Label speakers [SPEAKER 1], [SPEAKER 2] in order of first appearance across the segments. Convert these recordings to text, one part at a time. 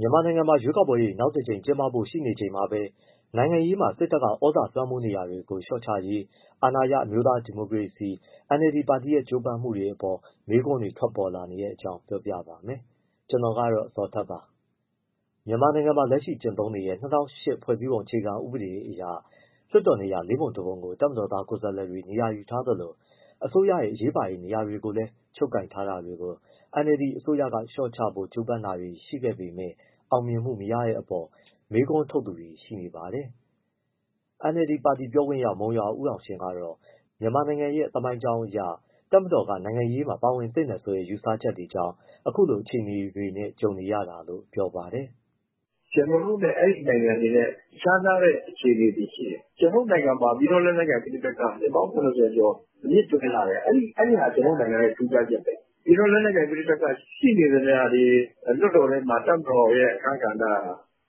[SPEAKER 1] မြန်မာနိုင်ငံမှာ ရွေးကောက်ပွဲတွေ နောက်တကြိမ် ကျင်းပဖို့ ရှိနေချိန်မှာပဲ နိုင်ငံရေးမှာ စစ်တပ်က သြဇာလွှမ်းမိုးနေတာတွေကို လျှော့ချရေး အာဏာရ အမျိုးသားဒီမိုကရေစီအဖွဲ့ချုပ် NLD ပါတီရဲ့ ကြိုးပမ်းမှုတွေအပေါ် မေးခွန်းတွေ ထွက်ပေါ်နေတဲ့အကြောင်းကို ဗွီအိုအေမြန်မာပိုင်းသတင်းထောက် ကိုဇော်ထက်က ပြောပြပေးပါမယ်။ မြန်မာနိုင်ငံမှာ လက်ရှိကျင့်သုံးနေတဲ့ ၂၀၀၈ ခုနှစ် ဖွဲ့စည်းပုံအခြေခံ ဥပဒေအရ လွှတ်တော်နေရာ ၄ ပုံ ၁ ပုံကို တပ်မတော်သား ကိုယ်စားလှယ်တွေ နေရာယူထားသလို အစိုးရရဲ့ အရေးပါတဲ့ နေရာတွေကိုလည်း ချုပ်ကိုင်ထားတာတွေကို NLD အစိုးရက လျှော့ချဖို့ ကြိုးပမ်းတာတွေ ရှိပေမဲ့ အောင်မြင်မှုမရတဲ့အပေါ် မေးခွန်းထုတ်သူတွေ ရှိနေပါတယ်။ NLD ပါတီ ပြောခွင့်ရ မုံရွာဦးအောင်ရှင်ကတော့ မြန်မာနိုင်ငံရဲ့ သမိုင်းကြောင်းအရ တပ်မတော်က နိုင်ငံရေးမှာ ပါဝင်သင့်တယ်ဆိုတဲ့ ယူဆချက်တွေကြောင့် အခုလို အခြေအနေနဲ့ ကြုံနေရတာလို့ ပြောပါတယ်။
[SPEAKER 2] “ကျနော်တို့နဲ့ အဲဒီနိုင်ငံတွေက ခြားနားတဲ့ အခြေအနေတွေရှိတယ်။ ကျနော်တို့နိုင်ငံမှာ ပြည်တွင်းလက်နက်ကိုင် ပဋိပက္ခ နှစ်ပေါင်း ၇၀ ကျော်အမြစ်တွယ်လာတယ်။ အဲဒါဟာ ကျနော်တို့နိုင်ငံရဲ့ ထူးခြားချက်ပဲ။ ပြည်တွင်းလက်နက်ကိုင် ရှိနေသမျှတော့ လွှတ်တော်ထဲမှာ တပ်မတော်ရဲ့ အခန်းကဏ္ဍက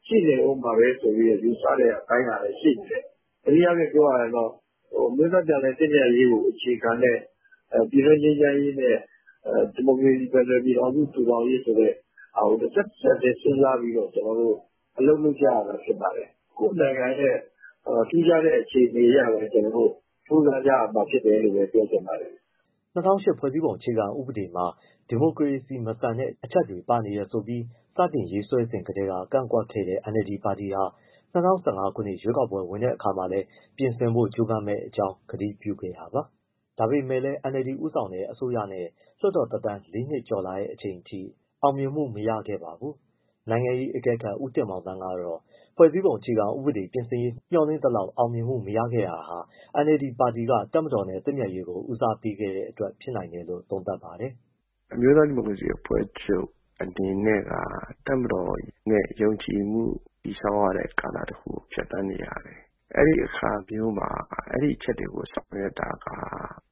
[SPEAKER 2] ရှိနေဦးမှာပဲဆိုတဲ့ ယူဆတဲ့အပိုင်းကလည်း ရှိနေတယ်။ တနည်းအားဖြင့်ပြောရရင်တော့ အမျိုးသားပြန်လည် သင့်မြတ်ရေးကိုအခြေခံတဲ့ ပြည်တွင်းငြိမ်းချမ်းရေးနဲ့ ဒီမိုကရေစီ ဖက်ဒရယ်ပြည်ထောင်စု တည်ထောင်ရေးဆိုတဲ့ တဆက်၊ တဆက်တည်း စဉ်းစားပြီးတော့ အလုပ်လုပ်ကြရတာ ဖြစ်ပါတယ်။ ကိုယ့်နိုင်ငံရဲ့ ထူးခြားတဲ့ အခြေအနေအရပဲ ကြိုးစားကြရတာဖြစ်တယ်လို့ ပြောချင်ပါတယ်။
[SPEAKER 1] ” ၂၀၀၈ ခုနှစ် ဖွဲ့စည်းပုံ အခြေခံဥပဒေမှာ ဒီမိုကရေစီမဆန်တဲ့ အချက်တွေ ပါဝင်နေတယ်ဆိုပြီး စတင်ရေးဆွဲစဉ်ကတည်းက ကန့်ကွက်ခဲ့တဲ့ NLD ပါတီဟာ ၂၀၁၅ ခုနှစ် ရွေးကောက်ပွဲဝင်တဲ့အခါမှာလည်း ပြင်ဆင်ဖို့ ကြိုးပမ်းမယ့်အကြောင်း ကတိပြုခဲ့တာပါ။ ဒါပေမဲ့လည်း NLD ဦးဆောင်တဲ့ အစိုးရနဲ့ လွှတ်တော်သက်တမ်း ၄ နှစ်ကျော်လာတဲ့ အချိန်အထိ အောင်မြင်မှုတော့ မရခဲ့ပါဘူး။ နိုင်ငံရေးအကဲခတ် ဦးတင်မောင်သန်းကတော့ ဖွဲ့စည်းပုံအခြေခံဥပဒေ ပြင်ဆင်ရေး မျှော်လင့်သလောက် အောင်မြင်မှုမရခဲ့တာဟာ NLD ပါတီက တပ်မတော်နဲ့ သင့်မြတ်ရေးကို ဦးစားပေးခဲ့တဲ့အတွက် ဖြစ်နိုင်တယ်လို့ သုံးသပ်ပါတယ်။
[SPEAKER 2] “အမျိုးသား ဒီမိုကရေစီအဖွဲ့ချုပ် အနေနဲ့က တပ်မတော်နဲ့ ယုံကြည်မှု တည်ဆောက်တဲ့ကာလကို ဖြတ်သန်းနေရတယ်။ အဲဒီအခါမျိုးမှာ အဲဒီအချက်တွေကို ဆောင်ရွက်တာက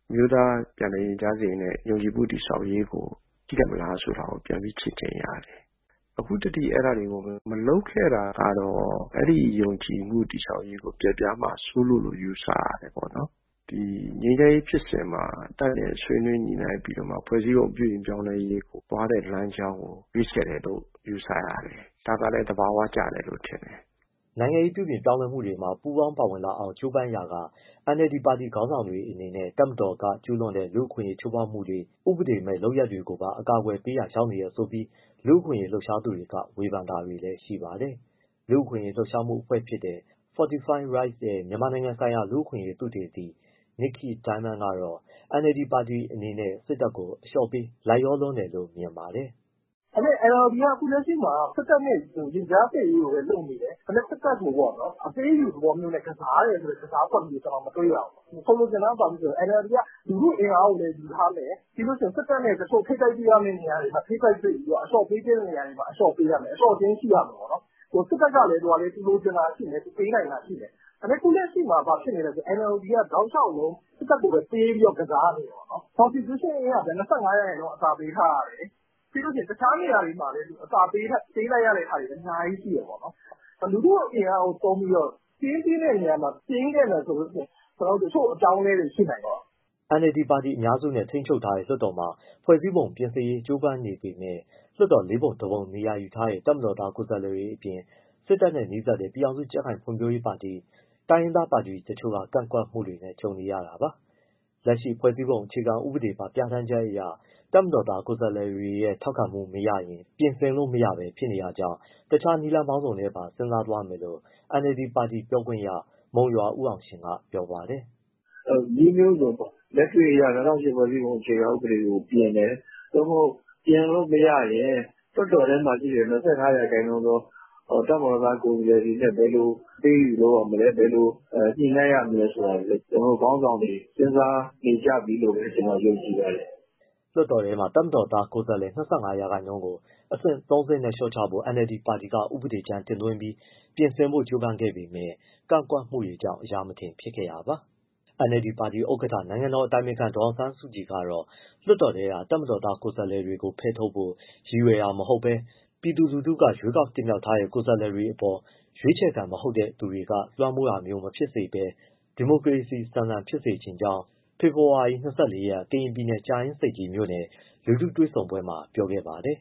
[SPEAKER 2] အမျိုးသားပြန်လည်သင့်မြတ်ရေးနဲ့ ယုံကြည်မှုတည်ဆောက်ရေးကို ထိခိုက်မလားဆိုတာကို ပြန်ပြီးချင့်ချိန်ရတယ်။ အခုထိ အဲဒါတွေကို မလုပ်ခဲ့တာကတော့ အဲဒီယုံကြည်မှုတည်ဆောက်ရေးကို ပျက်ပြားမှာစိုးလို့လို့ ယူဆရတယ်ပေါ့နော်။ ငြိမ်းချမ်းရေးဖြစ်စဉ်မှာ တပ်နဲ့ ဆွေးနွေးညှိနှိုင်းပြီးတ
[SPEAKER 1] ော့မှ ဖွဲ့စည်းပုံပြုပြင်ပြောင်းလဲရေး သွားတဲ့လမ်းကြောင်းကို ရွေးချယ်တယ်လို့ ယူဆရတယ်။ ဒါကလည်း သဘာဝကျတယ်လို့ ထင်တယ်။” နိုင်ငံရေး ပြုပြင်ပြောင်းလဲမှုတွေမှာ ပူးပေါင်းပါဝင်လာအောင် ကြိုးပမ်းရာက NLD ပါတီခေါင်းဆောင်တွေအနေနဲ့ တပ်မတော်က ကျုးလွန်တဲ့ လူ့အခွင့်အရေး ချိုးဖောက်မှုတွေ၊ ဥပဒေမဲ့လုပ်ရပ်တွေကိုပါ အကာအကွယ်ပေးရာ ရောက်နေတယ်ဆိုပြီး လူ့အခွင့်အရေး လှုပ်ရှားသူတွေက ဝေဖန်တာတွေလည်း ရှိပါတယ်။ လူ့အခွင့်အရေးလှုပ်ရှားမှုအဖွဲ့တခုဖြစ်တဲ့ Fortify Rights ရဲ့ မြန်မာနိုင်ငံဆိုင်ရာ လူ့အခွင့်အရေးသုတေသီ Nickey Diamond ကတော့ NLD ပါတီအနေနဲ့ စစ်တပ်ကို အလျှော့ပေး လိုက်လျောလွန်းတယ်လို့ မြင်ပါတယ်။ “ဒါပေမဲ့ NLD က အခုလက်ရှိမှာ စစ်တပ်န
[SPEAKER 2] ဲ့ ရင်ကြားစေ့ရေးကိုပဲ လုပ်နေတယ်။ ဒါပေမဲ့ စစ်တပ်ကို အပေးအယူသဘောမျိုးကစားတယ်ဆိုတဲ့ ကစားကွက်မျိုး မတွေ့ရဘူး။ ဆိုလိုချင်တာက NLD က လူထုအင်အားကိုလည်း ယူထားမယ်၊ စစ်တပ်နဲ့ ထိပ်တိုက်တွေ့ရမယ့် တချို့နေရာတွေမှာ ထိပ်တိုက်တွေ့ပြီးတော့ အလျှော့ပေးရမယ့်နေရာတွေမှာ အလျှော့ပေးရမယ်။ အလျှော့အတင်းရှိရမယ်ပေါ့။ စစ်တပ်ကလည်း သူလိုချင်တာရှိမယ်၊ သူပေးနိုင်တာရှိမယ်။ အခုလက်ရှိမှာ NLD က တောက်လျှောက်လုံး စစ်တပ်ကိုပဲ ပေးပြီးကစားနေတယ်ပေါ့။ Constitution ၂၅ ရာခိုင်နှုန်း အသာပေးထားရတယ်၊ တခြားနေရာတွေမှာလည်း အသာပေးလိုက်ရတာတွေ အများကြီးရှိတယ်ပေါ့။ လူထုအင်အားကို သုံးပြီးတော့ တင်းသင့်တဲ့နေရာမှာ တင်းခဲ့မယ်ဆိုရင် တချို့အပြောင်းအလဲတွေ ရှိနိုင်တယ်ပေါ့
[SPEAKER 1] ။” NLD ပါတီက အများစုနဲ့ ထိန်းချုပ်ထားတဲ့ လွှတ်တော်မှာ ဖွဲ့စည်းပုံပြင်ရေး ကြိုးပမ်းနေပေမဲ့ လွှတ်တော်မှာ ၄ ပုံ ၁ ပုံ နေရာယူထားတဲ့ တပ်မတော်သား ကိုယ်စားလှယ်တွေအပြင်၊ စစ်တပ်နဲ့နီးစပ်တဲ့ ပြည်ထောင်စု ကြံ့ခိုင်ရေးနဲ့ ဖွံ့ဖြိုးရေးပါတီ၊ တိုင်းရင်းသားပါတီ တချို့ကပါ ကန့်ကွက်မှုတွေနဲ့ ကြုံနေရတာပါ။ လက်ရှိဖွဲ့စည်းပုံအခြေခံဥပဒေပါ ပြဌာန်းချက်အရ တပ်မတော်သား ကိုယ်စားလှယ်တွေရဲ့ ထောက်ခံမှု မရရင် ပြင်ဆင်လို့မရနိုင်ဘဲ ဖြစ်နေတာကြောင့် တခြားနည်းလမ်းပေါင်းစုံကိုပါ စဉ်းစားသွားမယ်လို့ NLD ပါတီ ပြောခွင့်ရပုဂ္ဂိုလ် မုံရွာအောင်ရှင်က ပြောပါတယ်
[SPEAKER 2] ။ “နည်းမျိုးစုံပေါ့။ လက်တွေ့အရ ၂၀၀၈ ဖွဲ့စည်းပုံအခြေခံဥပဒေကို ပြင်တယ်၊ သို့မဟုတ် ပြင်လို့မရရင် လွှတ်တော်ထဲမှာရှိတဲ့ ၂၅ ရာခိုင်နှုန်းသော တပ်မတော်သား ကိုယ်စားလှယ်တွေနဲ့ ဘယ်လိုအပေးအယူလုပ်ရမလဲ၊ ဘယ်လို ညှိနှိုင်းရမလဲဆိုတာတွေ ကျနော်တို့ ခေါင်းဆောင်တွေ စဉ်းစားနေကြပြီလို့ပဲ ကျနော်ယုံကြည်ပါတယ်။
[SPEAKER 1] ” လွှတ်တော်ထဲမှာ တပ်မတော်သားကိုယ်စားလှယ် ၂၅ ရာခိုင်နှုန်းကို အဆင့် ၃ ဆင့်နဲ့ လျှော့ချဖို့ NLD ပါတီက ဥပဒေကြမ်း တင်သွင်းပြီး ပြင်ဆင်ဖို့ ကြိုးပမ်းခဲ့ပေမဲ့ ကန့်ကွက်မှုတွေကြောင့် အရာမထင်ဖြစ်ခဲ့တာပါ။ NLD ပါတီဥက္ကဋ္ဌ နိုင်ငံတော်အတိုင်ပင်ခံပုဂ္ဂိုလ် ဒေါ်အောင်ဆန်းစုကြည်ကတော့ လွှတ်တော်ထဲက တပ်မတော်သား ကိုယ်စားလှယ်တွေကို ဖယ်ထုတ်ဖို့ ရည်ရွယ်တာမဟုတ်ဘဲ ပြည်သူလူထုက ရွေးချယ်တင်မြှောက်ထားတဲ့ ကိုယ်စားလှယ်တွေအပေါ် ရွေးချယ်ခံ မဟုတ်တဲ့သူတွေက လွှမ်းမိုးတာမျိုးမဖြစ်စေပဲ ဒီမိုကရေစီဆန်ဆန် ဖြစ်စေချင်ကြောင်း ဖေဖော်ဝါရီ ၂၄ ရက် ကရင်ပြည်နယ်၊ ကြာအင်းဆိပ်ကြီးမြို့နယ် လူထုတွေ့ဆုံပွဲမှာ ပြောခဲ့ပါတယ်